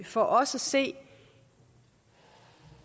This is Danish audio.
for os at se